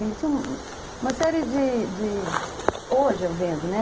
Ele tinha uma série de de... Hoje eu vendo, né?